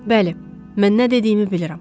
Bəli, mən nə dediyimi bilirəm.